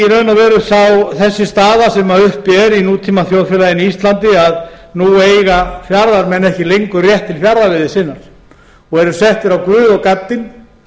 er kannski þessi staða sem uppi er í nútímaþjóðfélagi íslandi að nú eiga fjarðarmenn ekki lengur rétt til fjarðarveiði sinnar og eru settir á guð og gaddinn